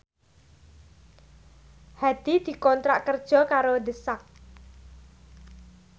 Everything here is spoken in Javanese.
Hadi dikontrak kerja karo The Sak